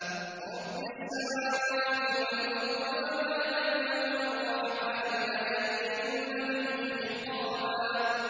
رَّبِّ السَّمَاوَاتِ وَالْأَرْضِ وَمَا بَيْنَهُمَا الرَّحْمَٰنِ ۖ لَا يَمْلِكُونَ مِنْهُ خِطَابًا